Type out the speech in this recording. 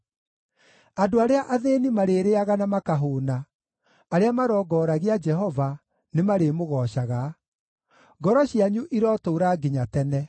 Andũ arĩa athĩĩni marĩrĩĩaga na makahũũna, arĩa marongoragia Jehova, nĩmarĩmũgoocaga; ngoro cianyu irotũũra nginya tene.